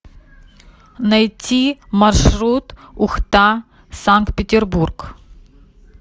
найти маршрут ухта санкт петербург